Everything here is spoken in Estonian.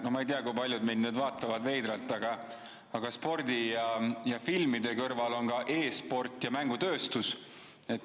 No ma ei tea, kui paljud mind nüüd veidralt vaatavad, aga spordi ja filmide kõrval on ka e‑sport ja mängutööstus.